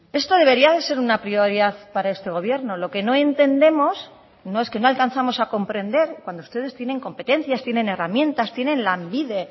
esto debería de ser una prioridad para este gobierno lo que no entendemos no es que no alcanzamos a comprender cuando ustedes tienen competencias tienen herramientas tienen lanbide